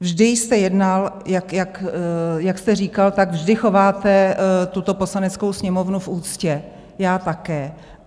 Vždy jste jednal, jak jste říkal, tak vždy chováte tuto Poslaneckou sněmovnu v úctě, já také.